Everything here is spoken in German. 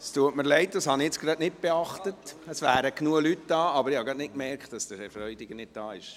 Es tut mir leid, es wären zwar genügend Leute hier, aber ich habe nicht gemerkt, dass Herr Freudiger nicht da ist.